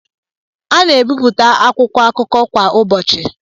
A na-ebipụta akwụkwọ akụkọ kwa ụbọchị.